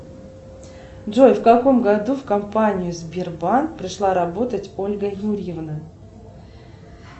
джой в каком году в компанию сбербанк пришла работать ольга юрьевна